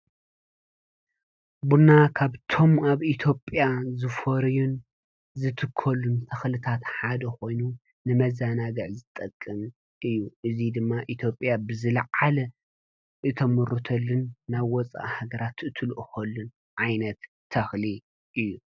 ቡና ካብቶም ኣብ ኢትዮጲያ ዝፈርዩን ዝትከሉን ተኽልታት ሓደ ኾይኑ ንመዛናግዕ ዝጠቅምን እዩ። እዙይ ድማ ኢትዮጲያ ብዝለዓለ እተምርተሉን ናብ ወፃኢ ሃገራት እትልእኾሉን ዓይነት ተኽሊ እዩ።